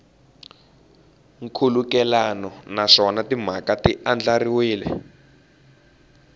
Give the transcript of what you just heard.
nkhulukelano naswona timhaka ti andlariwile